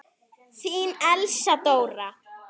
Þín Elsa Dóra.